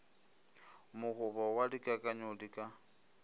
mokgobo wa dikakanyo di ka